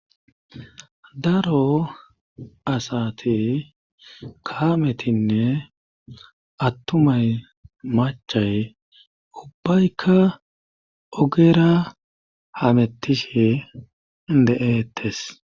Daro asat kaametinne attumay machay ubbaykka ogera hametishe de'eettes.